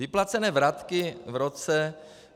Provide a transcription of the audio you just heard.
Vyplacené vratky v roce...